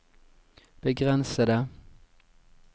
begrensede